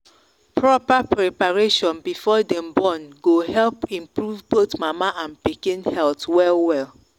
proper preparation before them born go help improve both mama and pikin health well well.